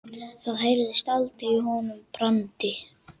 Það heyrðist aldrei í honum Brandi.